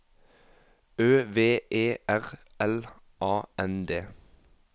Ø V E R L A N D